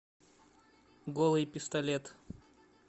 голый пистолет